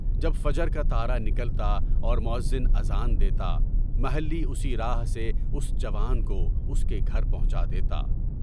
جب فجر کا تارا نکلتا اور مؤذن اذان دیتا، محلّی اسی راہ سے اُس جوان کو اُس کے گھر پہنچا دیتا۔